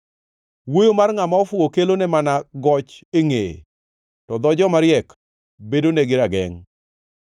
Wuoyo mar ngʼama ofuwo kelone mana goch e ngʼeye, to dho jomariek bedonegi ragengʼ.